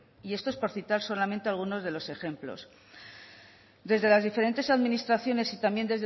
y esto es por citar solamente algunos de los ejemplos desde las diferentes administraciones y también